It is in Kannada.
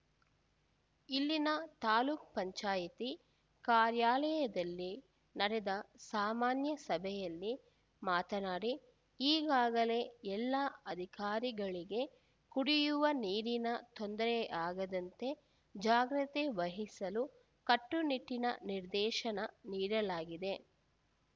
ಇಲ್ಲಿನ ತಾಲೂಕು ಪಂಚಾಯ್ತಿ ಕಾರ್ಯಾಲಯದಲ್ಲಿ ನಡೆದ ಸಾಮಾನ್ಯ ಸಭೆಯಲ್ಲಿ ಮಾತನಾಡಿ ಈಗಾಗಲೇ ಎಲ್ಲ ಅಧಿಕಾರಿಗಳಿಗೆ ಕುಡಿಯುವ ನೀರಿನ ತೊಂದರೆಯಾಗದಂತೆ ಜಾಗ್ರತೆ ವಹಿಸಲು ಕಟ್ಟುನಿಟ್ಟಿನ ನಿರ್ದೇಶನ ನೀಡಲಾಗಿದೆ